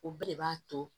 U bɛɛ de b'a to